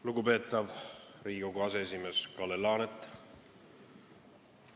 Lugupeetav Riigikogu aseesimees Kalle Laanet!